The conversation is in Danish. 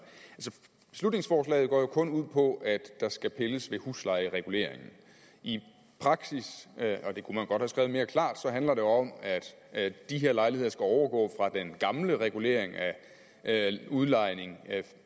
beslutningsforslaget går jo kun ud på at der skal pilles ved huslejereguleringen i praksis og det kunne man godt have skrevet mere klart handler det om at de her lejligheder skal overgå fra den gamle regulering af udlejning